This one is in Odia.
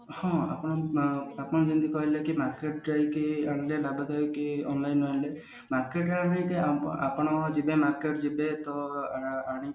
ହଁ ଆପଣ ଆପଣ ଯେମତି କହିଲେ କି market ଯାଇକି online order ନହେଲେ market ଯାଇକି ଆପଣ ଯିବେ market ଯିବେ ଅ ଅ ଆଣିକି